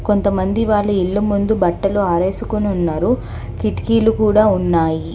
కొంతమంది వాళ్ళు ఇల్లు ముందు బట్టలు ఆరేసుకొని ఉన్నారు కిటికీలు కూడా ఉన్నాయి.